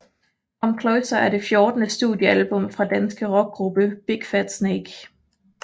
Come Closer er det fjortende studiealbum fra danske rockgruppe Big Fat Snake